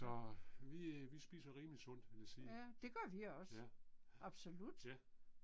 Så vi vi spiser rimelig sundt vil jeg sige. Ja. Ja